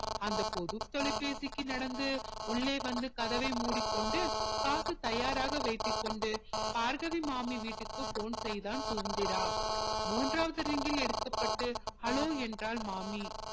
அந்த பொது தொலைபேசிக்கு நடந்து உள்ளே வந்து கதவை முடிக்கொண்டு காசை தயாராக வைத்து கொண்டு பார்கவி மாமி வீட்டுக்கு phone செய்தான் சுதந்திரா மூண்றாவது ring ல் எடுக்கப்பட்டு hello என்றால் மாமி